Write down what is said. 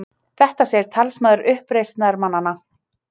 Þetta segir talsmaður uppreisnarmannanna